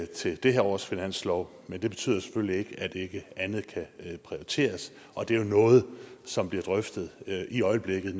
til det her års finanslov men det betyder selvfølgelig ikke at andet ikke kan prioriteres og det er jo noget som bliver drøftet i øjeblikket